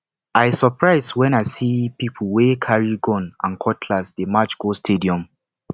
i surprise wen i see people wey carry gun and cutlass dey march go stadium